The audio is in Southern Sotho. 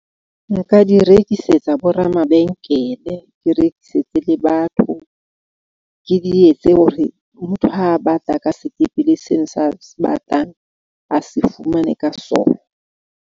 Nka di rekisetsa bo ramabenkele. Ke rekisetse le batho, ke di etse hore motho ha batla ka sekepele seo sa a se batlang a se fumane ka sona.